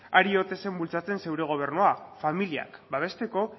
ari ote zen bultzatzen zure gobernuak familiak babesteko